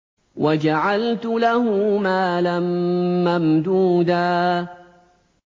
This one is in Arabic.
وَجَعَلْتُ لَهُ مَالًا مَّمْدُودًا